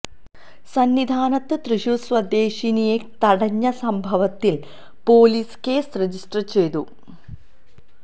സന്നിധാനത്ത് തൃശ്ശൂര് സ്വദേശിനിയെ തടഞ്ഞ സംഭവത്തില് പോലീസ് കേസ് രജിസ്റ്റര് ചെയ്തു